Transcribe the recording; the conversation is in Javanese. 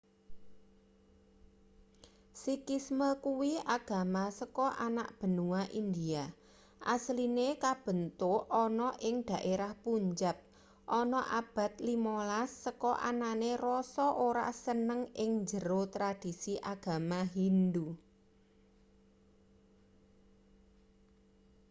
sikhisme kuwi agama saka anak benua india asline kabentuk ana ing daerah punjab ana abad 15 saka anane rasa ora seneng ing njero tradisi agama hindu